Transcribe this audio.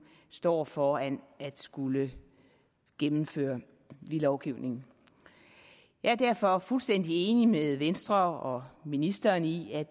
står foran at skulle gennemføre i lovgivningen jeg er derfor fuldstændig enig med venstre og ministeren i at